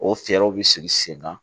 O fɛɛrɛw bi sigi sen kan